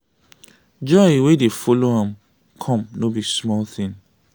joy wey dey follow am come no be small thing.